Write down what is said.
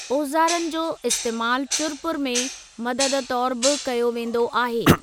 ओज़ारनि जो इस्तेमालु चुर पुर में मददु तौरु बि कयो वेंदो आहे।